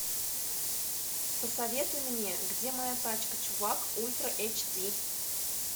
посоветуй мне где моя тачка чувак ультра эйч ди